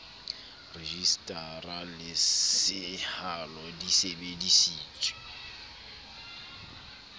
rejisetara le sehalo di sebedisitswe